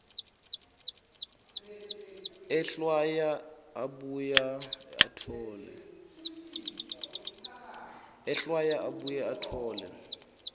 ehlwaya abuye atfole